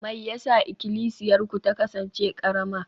me yasa Ikklisiyarku ta kasance karama?